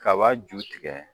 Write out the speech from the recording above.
Kaba ju tigɛ